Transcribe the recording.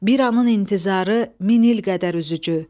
Bir anın intizarı min il qədər üzücü.